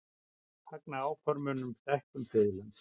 Fagna áformum um stækkun friðlands